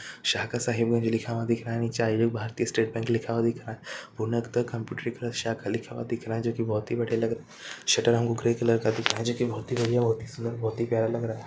शाखा साहेबगंज लिखा हुआ दिख रहा है नीचे आई.वि. भारती स्टेट बैंक लिखा हुआ दिख रहा है पुण्य तथा कंप्युटर क्लास शाखा लिखा हुआ दिख रहा है जो कि बहुत ही बढ़िया लग रहा शटर हमको ग्रे कलर का दिख रहा है जो की बहुत ही बढ़िया बहुत ही सुंदर बहुत ही प्यारा लग रहा हैं।